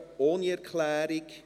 2019.RRGR.251